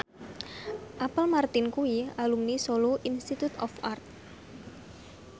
Apple Martin kuwi alumni Solo Institute of Art